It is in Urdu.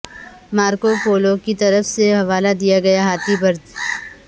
مارکو پولو کی طرف سے حوالہ دیا گیا ہاتھی برڈ